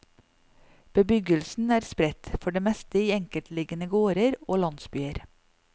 Bebyggelsen er spredt, for det meste i enkeltliggende gårder og landsbyer.